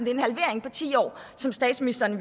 er en halvering på ti år som statsministeren